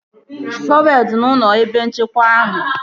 Shọvelu dị n'ụlọ ebe nchekwa ahụ